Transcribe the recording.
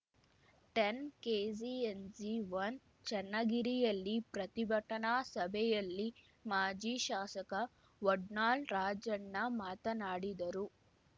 ಟೆನ್ಕೆಸಿಎನ್ಜಿವನ್ ಚೆನ್ನಗಿರಿಯಲ್ಲಿ ಪ್ರತಿಭಟನಾ ಸಭೆಯಲ್ಲಿ ಮಾಜಿ ಶಾಸಕ ವಡ್ನಾಳ್‌ ರಾಜಣ್ಣ ಮಾತನಾಡಿದರು